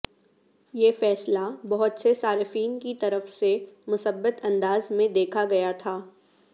یہ فیصلہ بہت سے صارفین کی طرف سے مثبت انداز میں دیکھا گیا تھا